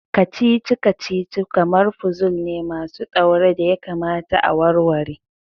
Kacici-kacici kamar puzul ne masu daure da ya kamata a warware.